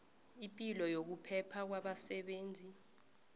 ipilo nokuphepha kwabasebenzi